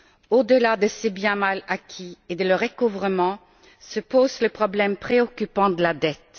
Au delà de ces biens mal acquis et de leur recouvrement se pose le problème préoccupant de la dette.